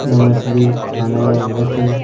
यह मछली खाने में बहुत ही--